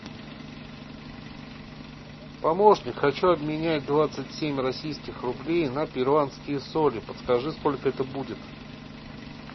помощник хочу обменять двадцать семь российских рублей на перуанские соли подскажи сколько это будет